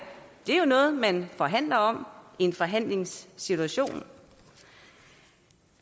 det er jo noget man forhandler om i en forhandlingssituation